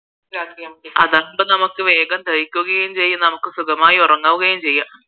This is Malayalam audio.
അതാവുമ്പോൾ നമുക്ക് വേഗം ദഹിക്കുകയും ചെയ്യും നമുക്ക് സുഖമായി ഉറങ്ങുവുകയും ചെയ്യാം